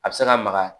A bɛ se ka magaya